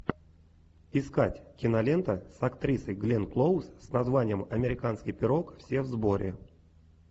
искать кинолента с актрисой гленн клоуз с названием американский пирог все в сборе